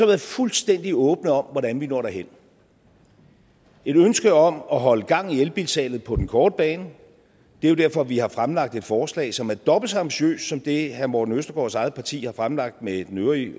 været fuldstændig åbne om hvordan vi når derhen et ønske om at holde gang i elbilsalget på den korte bane det er jo derfor vi har fremlagt et forslag som er dobbelt så ambitiøst som det herre morten østergaards eget parti har fremlagt med den øvrige